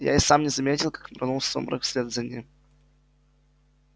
я и сам не заметил как нырнул в сумрак вслед за ним